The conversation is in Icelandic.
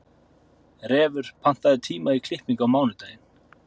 Refur, pantaðu tíma í klippingu á mánudaginn.